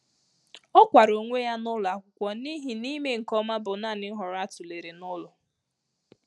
Ọ́ kwara ónwé yá n’ụ́lọ ákwụ́kwo n’íhí nà ị́me nké ọmà bụ́ nāànị́ nhọrọ á tụ́léré n’ụ́lọ.